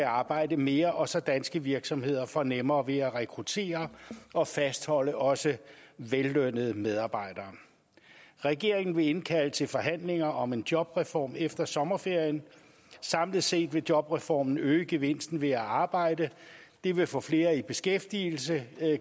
arbejde mere og så danske virksomheder får nemmere ved at rekruttere og fastholde også vellønnede medarbejdere regeringen vil indkalde til forhandlinger om en jobreform efter sommerferien samlet set vil jobreformen øge gevinsten ved at arbejde det vil få flere i beskæftigelse